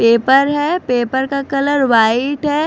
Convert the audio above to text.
Paper है paper का colour white है।